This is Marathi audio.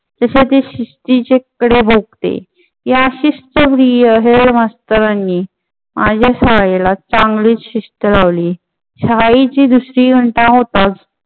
तसे ते शिस्तीचे फळे भोगते. या शिस्तप्रिय हेड मास्टर नी माझ्या शाळेला चांगलीच शिस्त लावली. शाळेची दुसरी घंटा होताच